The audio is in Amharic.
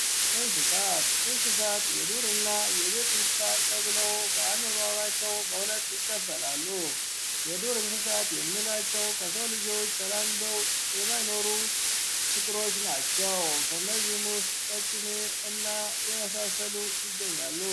እንስሳት እንስሳት የቤት እና የዱር እንስሳት ተብለው በአኗኗራቸው በሁለት ይከፈላሉ። የዱር እንስሳት የምንላቸው ከሰው ልጆች ተላምደው የማይኖሩ ፍጡሮች ናቸው ከእነዚህም ውስጥ ቀጭኔ እና የመሳሰሉ ይገኛሉ።